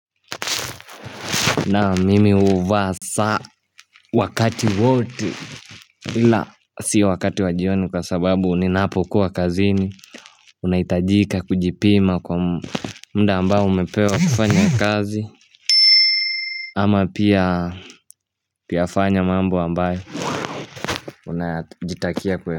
Naam mimi huvaa saa wakati wote bila si wakati wa jioni kwa sababu ninapokuwa kazini Unahitajika kujipima kwa mda ambao umepewa kufanya kazi Ama pia kuyafanya mambo ambayo unajitakia.